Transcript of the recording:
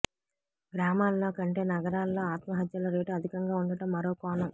గ్రామాల్లో కంటే నగరాల్లో ఆత్మహత్యల రేటు అధికంగా ఉండటం మరో కోణం